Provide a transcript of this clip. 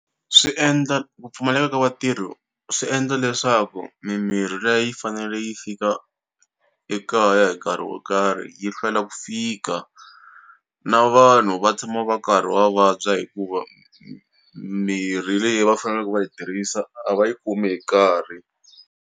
Swi endla ku pfumaleka ka vatirhi swi endla leswaku mimirhi leyi a yi fanele yi fika ekaya hi nkarhi wo karhi yi hlwela ku fika na vanhu va tshama va karhi va vabya hikuva mirhi leyi va faneleke va yi tirhisa a va yi kumi hi nkarhi.